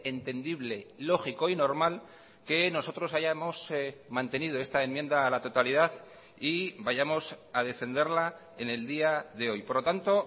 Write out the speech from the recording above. entendible lógico y normal que nosotros hayamos mantenido esta enmienda a la totalidad y vayamos a defenderla en el día de hoy por lo tanto